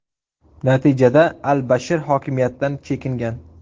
Natijada al-Bashir hokimiyatdan chekingan.